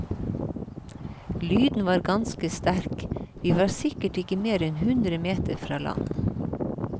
Lyden var ganske sterk, vi var sikkert ikke mer enn hundre meter fra land.